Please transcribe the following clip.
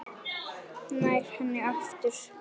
Nær henni aftur.